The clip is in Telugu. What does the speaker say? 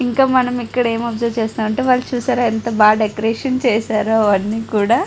ఇంకా మనం ఇక్కడ ఎం ఆబ్సర్వ్ చేసమంటే వాళ్ళు చూశారా ఎంత బాగా డెకరేషన్ చేశారో అవన్నీ కూడా.